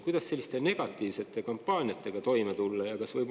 Kuidas selliste negatiivsete kampaaniatega toime tulla?